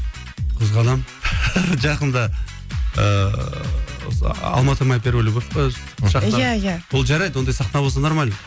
қызғанамын жақында ыыы осы алматы моя первая любавь па шақырған иә иә ол жарайды ондай сахна болса нормально